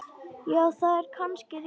Já, það er kannski rétt.